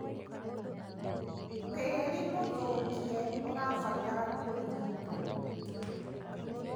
Tĩri mũthũkie ũrabatara kurigitwo.